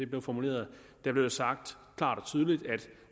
blev formuleret der blev det sagt klart og tydeligt at